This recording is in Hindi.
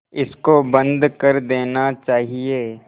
इसको बंद कर देना चाहिए